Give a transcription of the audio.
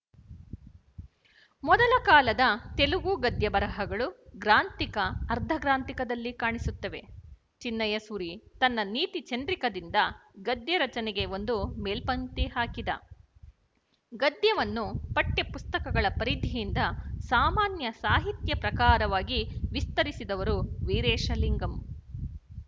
ಮೊದಲ ಕಾಲದ ತೆಲುಗು ಗದ್ಯಬರಹಗಳು ಗ್ರಾಂಥಿಕ ಅರ್ಧಗ್ರಾಂಥಿಕದಲ್ಲಿ ಕಾಣಿಸುತ್ತವೆ ಚಿನ್ನಯಸೂರಿ ತನ್ನ ನೀತಿಚಂದ್ರಿಕದಿಂದ ಗದ್ಯರಚನೆಗೆ ಒಂದು ಮೇಲ್ಪಂಕ್ತಿ ಹಾಕಿದ ಗದ್ಯವನ್ನು ಪಠ್ಯಪುಸ್ತಕಗಳ ಪರಿಧಿಯಿಂದ ಸಾಮಾನ್ಯ ಸಾಹಿತ್ಯ ಪ್ರಕಾರವಾಗಿ ವಿಸ್ತರಿಸಿದವರು ವೀರೇಶಲಿಂಗಂ